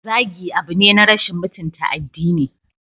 Zagi abu ne na rashin mutunta addini.